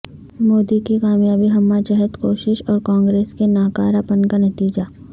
مودی کی کامیابی ہمہ جہت کوشش اور کانگریس کے ناکارہ پن کا نتیجہ